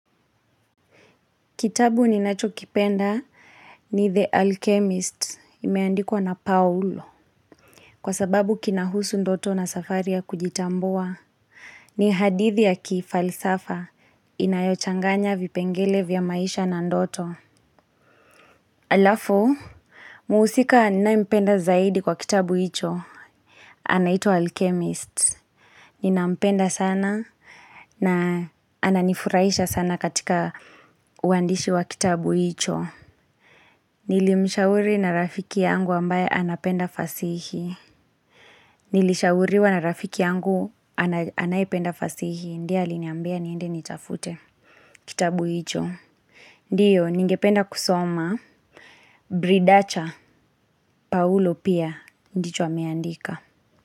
Kitabu ninacho kipenda ni The Alchemist, imeandikwa na Paulo. Kwa sababu kinahusu ndoto na safari ya kujitambua. Ni hadithi ya kifalsafa, inayo changanya vipengele vya maisha na ndoto. Alafu, mhusika ninayempenda zaidi kwa kitabu hicho, anaitwa Alchemist. Ninampenda sana na ananifuraisha sana katika uandishi wa kitabu hicho. Nilimshauri na rafiki yangu ambaye anapenda fasihi nilishauriwa na rafiki yangu anayependa fasihi. Ndiye aliniambia niende nitafute kitabu hicho. Ndiyo, ningependa kusoma Bridacha, Paulo pia, ndicho ameandika.